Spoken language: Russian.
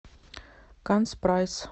канц прайс